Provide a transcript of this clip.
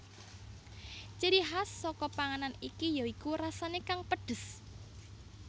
Ciri khas saka panganan iki ya iku rasane kang pedhes